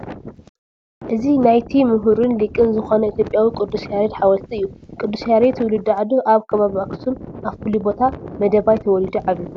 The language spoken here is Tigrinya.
እዚ ናይቲ ምህሩን ሊቅን ዝኾነ ኢትዮትጵያዊ ቅዱስ ያሬድ ሓወልቲ እዩ፡፡ ቅዱስ ያሬድ ትውልዲ ዓዱ ኣብ ከባቢ ኣክሱም ኣብ ፍሉይ ቦታ መደባይ ተወሊዱ ዓብዩ፡፡